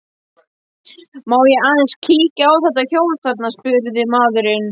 Má ég aðeins kíkja á þetta hjól þarna, spurði maðurinn.